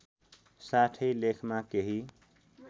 साथै लेखमा केही